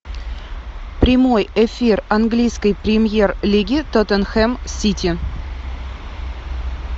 прямой эфир английской премьер лиги тоттенхэм сити